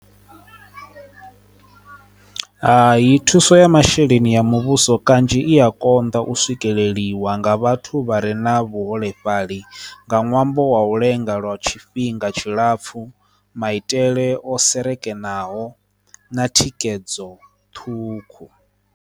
Hai, thuso ya masheleni ya muvhuso kanzhi i ya konḓa u swikelela ḽiwa nga vhathu vha re na vhuholefhali nga ṅwambo wa u lenga lwa tshifhinga tshilapfhu maitele o sekenaho na thikedzo ṱhukhu.